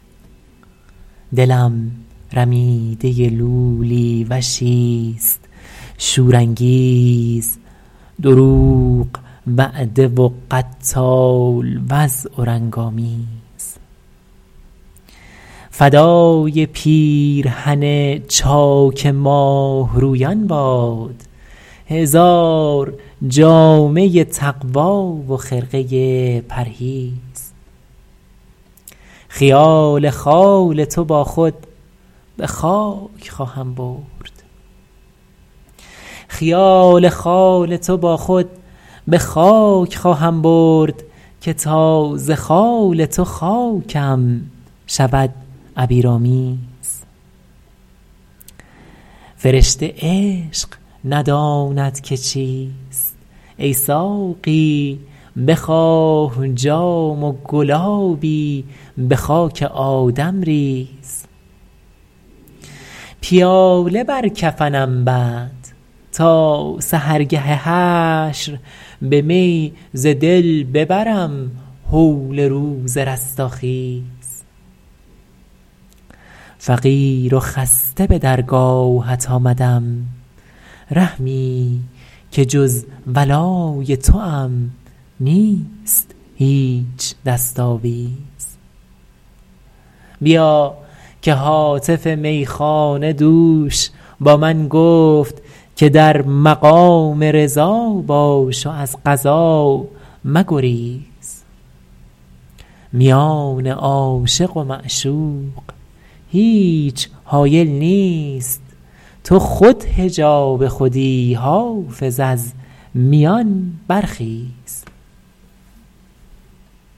دلم رمیده لولی وشیست شورانگیز دروغ وعده و قتال وضع و رنگ آمیز فدای پیرهن چاک ماهرویان باد هزار جامه تقوی و خرقه پرهیز خیال خال تو با خود به خاک خواهم برد که تا ز خال تو خاکم شود عبیرآمیز فرشته عشق نداند که چیست ای ساقی بخواه جام و گلابی به خاک آدم ریز پیاله بر کفنم بند تا سحرگه حشر به می ز دل ببرم هول روز رستاخیز فقیر و خسته به درگاهت آمدم رحمی که جز ولای توام نیست هیچ دست آویز بیا که هاتف میخانه دوش با من گفت که در مقام رضا باش و از قضا مگریز میان عاشق و معشوق هیچ حایل نیست تو خود حجاب خودی حافظ از میان برخیز